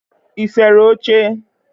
ị sere oche?